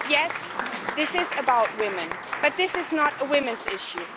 Yes, this is about women, but it is not a women's issue.